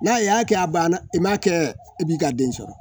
N'a ye y'a kɛ a banna i m'a kɛ i b'i ka den sɔrɔ